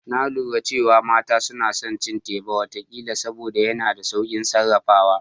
Na lura cewa mata suna son cin teba wata kila saboda yana da saukin sarrafawa